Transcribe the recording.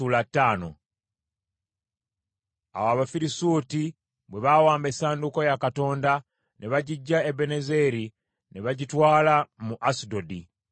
Awo Abafirisuuti bwe bawamba essanduuko ya Katonda, ne bagiggya Ebenezeri ne bagitwala mu Asudodi;